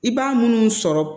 I b'a munnu sɔrɔ